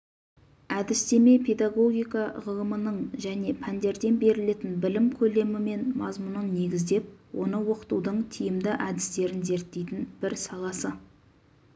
әдістеме педагогика ғылымының жеке пәндерден берілетін білім көлемі мен мазмұнын негіздеп оны оқытудың тиімді әдістерін зерттейтін бір саласы